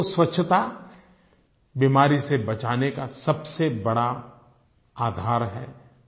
एक तो स्वच्छता बीमारी से बचाने का सबसे बड़ा आधार है